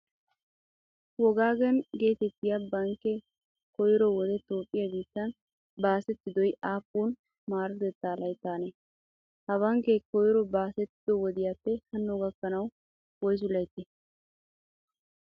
Wogaagen geetettiya bankkee koyro wode Toophphiyaa biittan baasettidoy aappun maarotettaa layttaanee? Ha bankkee koyro baasettido wodiyaappe hanno gakkanawu woysu layttee?